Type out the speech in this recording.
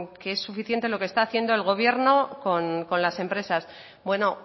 que es suficiente lo que está haciendo el gobierno con las empresas bueno